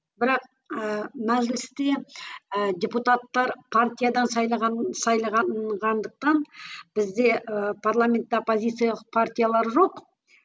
бірақ ііі мәжілісте і депутаттар партиядан сайлаған бізде і парламентте оппозициялық партиялар жоқ